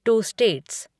to states